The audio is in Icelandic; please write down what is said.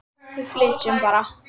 Við flytjum bara!